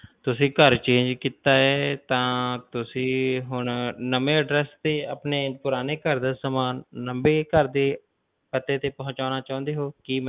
ਤੁਸੀ ਘਰ change ਕੀਤਾ ਹੈ ਤਾਂ ਤੁਸੀਂ ਹੁਣ ਨਵੇਂ address ਤੇ ਆਪਣੇ ਪੁਰਾਣੇ ਘਰ ਦਾ ਸਮਾਨ ਨਵੇਂ ਘਰ ਦੇ ਪਤੇ ਤੇ ਪਹੁਚਾਹੁਣਾ ਚਾਉਂਦੇ ਹੋ?